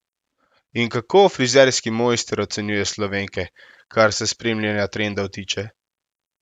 In kako frizerski mojster ocenjuje Slovenke, kar se spremljanja trendov tiče?